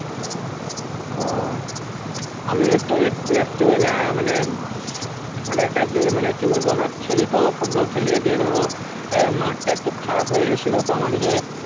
আমি একটু এসেছি বুঝলা মানে মানে কি বলবো আমরা খেলি তো ফুটবল খেলি দিয়ে ধরো মাঠ টা একটু খারাপ হয়ে গেছিলো তো আমাদের কে